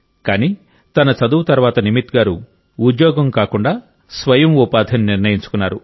కానీ తన చదువు తర్వాత నిమిత్ గారు ఉద్యోగం కాకుండా స్వయం ఉపాధిని నిర్ణయించుకున్నారు